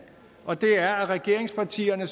og det er at regeringspartierne